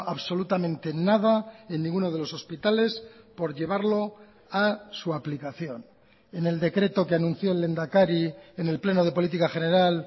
absolutamente nada en ninguno de los hospitales por llevarlo a su aplicación en el decreto que anunció el lehendakari en el pleno de política general